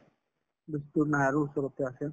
বেছি দূৰ নাই আৰু ওচৰতে আছিল